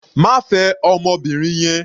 Má fẹ ọmọbìnrin yẹn.